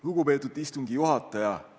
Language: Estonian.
Lugupeetud istungi juhataja!